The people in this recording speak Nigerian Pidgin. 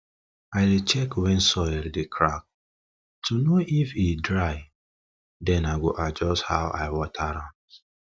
i dey check when soil dey crack to know if e dry then i go adjust how i water am